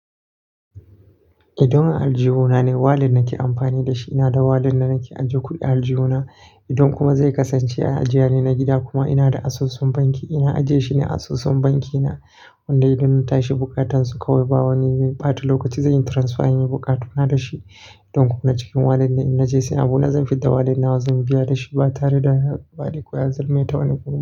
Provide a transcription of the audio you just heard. Idan zan ajiye kuɗina ne, wallet nake amfani da shi, ina da wallet da nake ajiye kuɗi ajeyena. Idan kuma zai kasance a ajiya ne na gida kuma ina da asusun banki, ina ajiye shi ne a asusun banki na. Wannan idan natashi bukatansu kawai ba wani ɓata lokaci, zanyi transfer in yi buƙatuna da shi. Idan kuma na cikin wallet ne in na je sai abuna zan fidda wallet na zan biya da shi ba tare da ya bari koya zurmaye ta wani kuma.